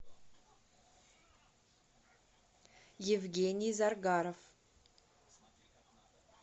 евгений заргаров